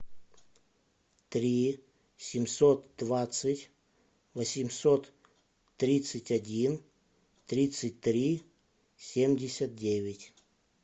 три семьсот двадцать восемьсот тридцать один тридцать три семьдесят девять